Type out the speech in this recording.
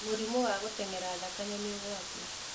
Mũrimũ wa gũteng'era thakame ni ũgwati.